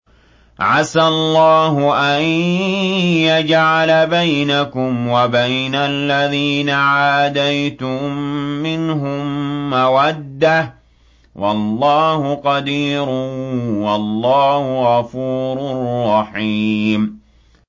۞ عَسَى اللَّهُ أَن يَجْعَلَ بَيْنَكُمْ وَبَيْنَ الَّذِينَ عَادَيْتُم مِّنْهُم مَّوَدَّةً ۚ وَاللَّهُ قَدِيرٌ ۚ وَاللَّهُ غَفُورٌ رَّحِيمٌ